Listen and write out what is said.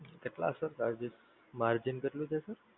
કેટલા Sir charges? margin કેટલું કીધું?